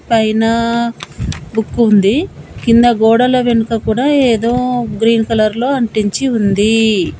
పైనా బుక్కు ఉంది కింద గోడల వెనుక కూడా ఏదో గ్రీన్ కలర్లో అంటించి ఉందీ.